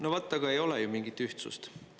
No vaat, aga ei ole ju mingit ühtsust.